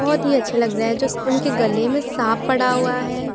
बहोत ही अच्छा लग रहा है जो उनके गले में साँप पड़ा हुआ है।